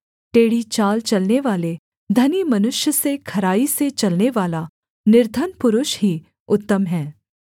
टेढ़ी चाल चलनेवाले धनी मनुष्य से खराई से चलनेवाला निर्धन पुरुष ही उत्तम है